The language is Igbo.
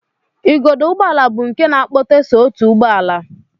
Igodo ụgbọala bụ nke na-akpọte so otu ụgbọala